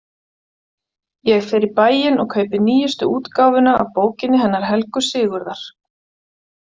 Ég fer í bæinn og kaupi nýjustu útgáfuna af bókinni hennar Helgu Sigurðar.